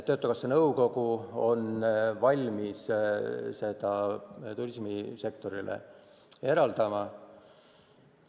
Töötukassa nõukogu on valmis selle turismisektorile eraldama.